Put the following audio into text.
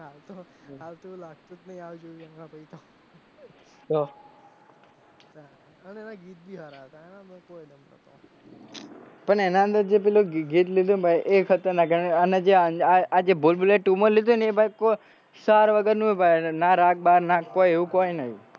પણ એના અંદર પેલું જે ગીત લીધયું ભાઈ એ ખતરનાખ અને જે આ અ આ ભૂલ ભુલૈયા two માં લીધ્યું હેને ભાઈ કોઈ સાર વગર નું હ ભાઈ ના રાગ બાગ ના એવું કોઈ નહિ